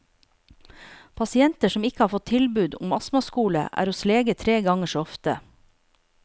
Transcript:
Pasienter som ikke har fått tilbud om astmaskole, er hos lege tre ganger så ofte.